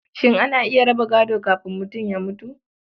Shin ana iya raba gado kafin mutum ya mutu?